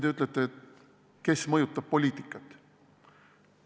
Te ütlete, kes mõjutab poliitikat.